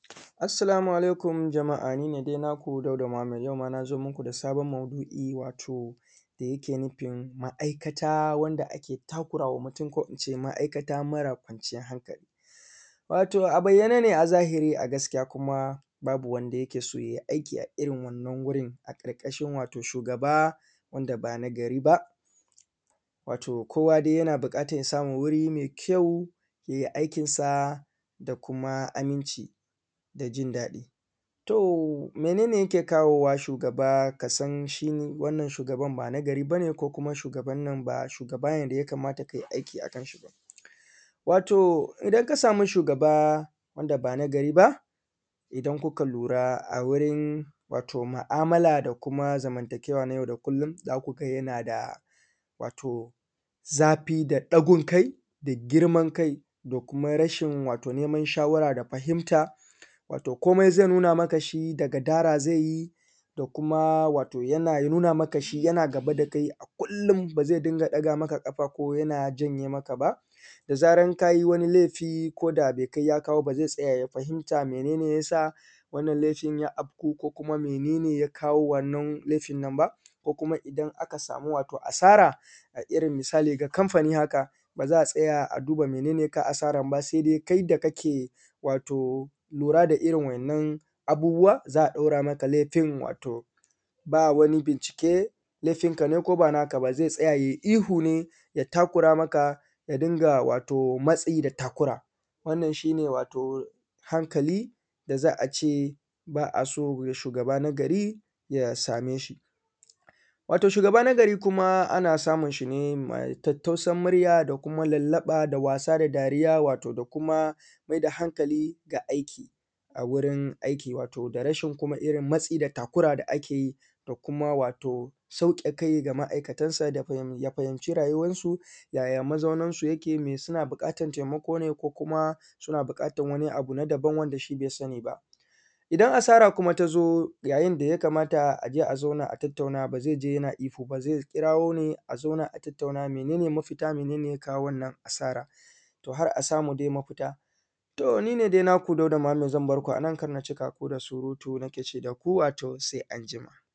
Assalamu alaikum jama’a ni ne dai naku Dauda Muhammad. Yau ma na zo muku da sabon maudu’i wato da yake nufin ma’aikata wanda ake takura wa mutum, ko in ce ma’aikata mara kwanciyar hankali. Wato a bayyane ne a zahiri a gaskiya kuma babu wanda yake so ya yi a irin wannan wurin a ƙarƙashin wato shugaba wanda ba nagari ba. Wato kowa dai yana buƙatan ya samu wuri mai kyau ya yi aikinsa da kuma aminci da jin daɗi. To, mene ne yake kawowa shugaba ka san shi ne wannan shugaban ba nagari ba ne? ko kuma shugaban nan ba shugaba ne da ya kamata ka yi aiki a kanshi ba? Wato idan ka samu shugaba wanda ba nagari ba, idan kuka lura a wurin, wato mu’amala da kuma zamantakewa na yau da kullum, za ku ga yana da, wato zafi da ɗagun kai da girman kai da kuma rashin, wato neman shawara da fahimta, wato komai zai nuna maka shi da gadara zai yi, da kuma wato yana nuna maka shi yana gaba da kai a kullum ba zai dinga ɗaga maka ƙafa ko yana janye maka ba, da zarar ka yi laifi ko da bai kai ya kawo ba, ba zai tsaya ya fahimta mene ne ya sa wannan laifi ya afku ko kuma mene ne ya kawo wannan laifin nan ba. Ko kuma idan aka samu wato asara, a irin misali ga kamfani haka, ba za a tsaya a duba mene ne ya kawo asaran ba, sai dai kai da kake, wato lura da irin wai’innan abubuwan, za a ɗora maka laifin, wato ba wani bincike laifinka ne ko ba naka ba, zai tsaya ya yi ihu ne, ya takura maka, ya dinga, wato matsi da takura. Wannan shi ne wato hankali da za a ce ba a so ga shugaba nagari ya same shi. Wato shugaba nagari kuma ana samun shi ne mai tattausan murya da kuma lallaɓa da wasa da dariya, wato da kuma mai da hankali ga aiki, a wurin aiki. wato da rashin kuma irin matsi da takura da ake yi, da kuma wato sauke kai da ma’aikatansa da ya fahimci rayuwarsu, yaya mazauninsu yake? Me, suna buƙatan taimako ne ko kuma suna buƙatan wani abu na daban wanda shi bai sani ba. Idan asara kuma ta zo, yayin da ya kamata a je a zauna a tattauna, ba zai je yana ihu ba. Zai kirawo ne a zauna a tattauna mene ne mafita? Mene ne ya kawo wannan asaran? To har a samu dai mafita. To, ni ne dai naku Dauda Muhammad zan bar ku a nan, kar na cika ku da surutu nake ce da ku wato sai anjima.